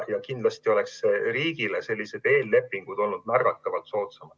Ja kindlasti oleksid riigile sellised eellepingud olnud märgatavalt soodsamad.